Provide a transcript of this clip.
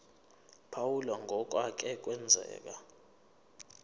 phawula ngokwake kwenzeka